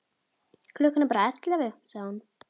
Klukkan er bara ellefu, sagði hún.